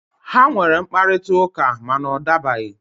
Ha nwere mkparịta ụka, ma na ọ dabaghị.